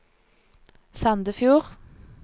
Sandefjord